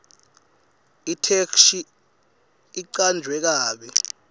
itheksthi icanjwe kabi